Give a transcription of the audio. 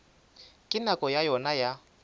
ka nako ya yona ya